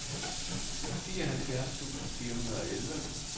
fireoghalvfjerds tusind fire hundrede og elleve